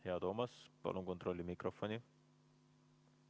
Hea Toomas, palun kontrolli mikrofoni!